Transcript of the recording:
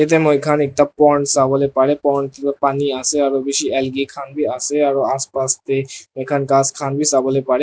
yadae moikan ekta pound sabolae parae pound dae pani asae aro bishi alage khan bi asae aro aass paass dae moi khan khass khan bi sabolae parae.